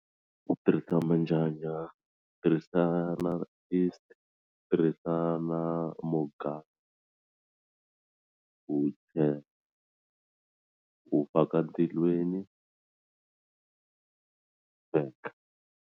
U tirhisa manjanja tirhisa na yeast tirhisa na u u faka ndzilweni u sweka.